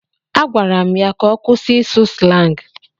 Agwara m ya ka ọ kwụsị ịsụ slangị.